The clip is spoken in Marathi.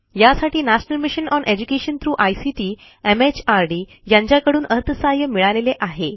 यासाठी national mission on education through ICT MHRD यांच्याकडून अर्थसहाय्य मिळालेले आहे